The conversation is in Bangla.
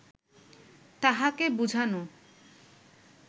তাহাকে বুঝানো